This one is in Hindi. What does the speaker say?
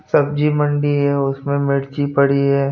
सब्जी मंडी हैं उसमें मिर्च पड़ी हैं।